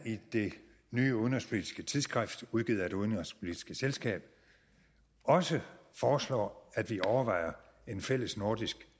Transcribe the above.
i det nye udenrigspolitiske tidsskrift udgivet af det udenrigspolitiske selskab også foreslår at vi overvejer en fælles nordisk